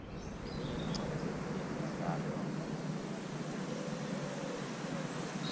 letinye tincwadzi temidlalo